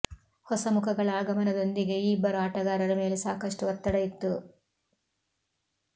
ಹೊಸಮುಖಗಳ ಆಗಮನದೊಂದಿಗೆ ಈ ಇಬ್ಬರು ಆಟಗಾರರ ಮೇಲೆ ಸಾಕಷ್ಟು ಒತ್ತಡ ಇತ್ತು